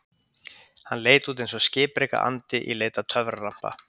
Hann leit út eins og skipreika andi í leit að töfralampa.